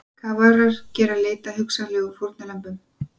Kafarar gera leit að hugsanlegum fórnarlömbum